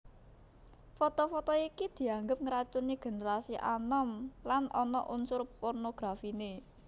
Foto foto iki dianggep ngracuni génerasi anom lan ana unsur pornografiné